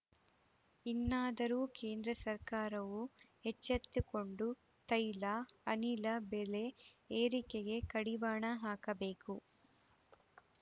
ಇನ್ನಾದರೂ ಕೇಂದ್ರ ಸರ್ಕಾರವು ಎಚ್ಚೆತ್ತುಕೊಂಡು ತೈಲ ಅನಿಲ ಬೆಲೆ ಏರಿಕೆಗೆ ಕಡಿವಾಣ ಹಾಕಬೇಕು